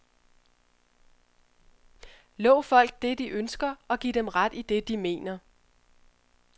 Lov folk det, de ønsker, og giv dem ret i det, de mener.